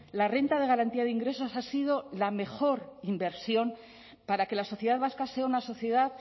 la renta de garantía de ingresos ha sido la mejor inversión para que la sociedad vasca sea una sociedad